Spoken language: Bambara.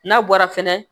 N'a bɔra fɛnɛ